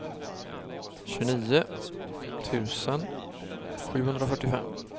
tjugonio tusen sjuhundrafyrtiofem